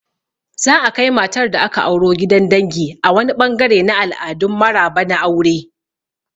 Za'a kai matar da aka auro gidan dangi a wani ɓangare na al'adun maraba na aure.